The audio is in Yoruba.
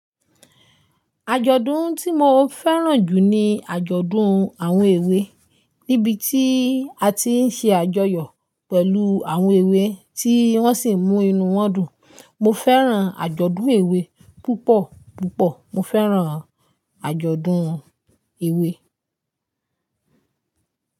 Àjọ̀dún tí mo fẹ́ràn jù ni àjọ̀dún àwọn èwe, níbi tí a ti ń ṣe àjọyọ̀ pẹ̀lú àwọn èwe tí wọ́n sì ń mú inú wọn dùn. Mo fẹ́ràn àjọ̀dún èwe púpọ̀ púpọ̀. Mo fẹ́ràn àjọ̀dún èwe.